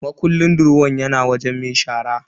Makullin durowan yana wajen mai shara.